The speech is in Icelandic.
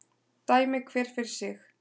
Dæmi hver fyrir sig